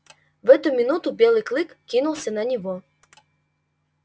в эту минуту белый клык кинулся на него